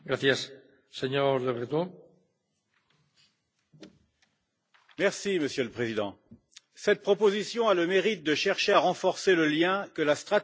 Monsieur le Président, cette proposition a le mérite de chercher à renforcer le lien que la stratégie européenne de sécurité a établi dès 2003 entre sécurité et développement.